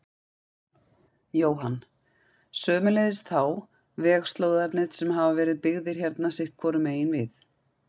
Jóhann: Sömuleiðis þá vegslóðarnir sem hafa verið byggðir hérna sitthvoru megin við?